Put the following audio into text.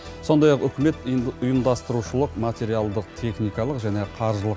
сондай ақ үкімет ұйымдастырушылық материалдық техникалық және қаржылық